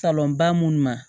Salon ba munnu ma